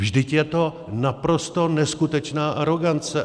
Vždyť je to naprosto neskutečná arogance!